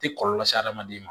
Ti kɔlɔlɔ se hadamaden ma